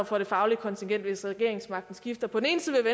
for det faglige kontingent hvis regeringsmagten skifter på